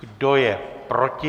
Kdo je proti?